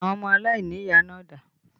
Àwọn ọmọ aláìníyàá náà dà?